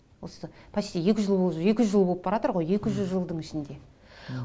осы почти екі жүз жыл болып баратыр ғой екі жүз жылдың ішінде